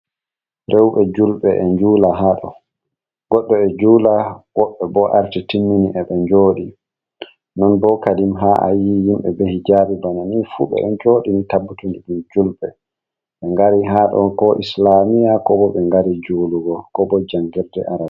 Rewɓe julɓe e njula haaɗo. Goɗɗo e juula woɓɓe bo arti timmini e ɓe njoɗi. Non bo kadim haa ayi yimɓe be hijaabi bana ni fu ɓe ɗo joɗi ni tabbutun ɗum julɓe, ɓe ngari haɗo ko islamiya, ko bo ɓe ngari julugo, ko bo jangirde arab.